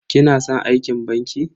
Kina san aikin banki?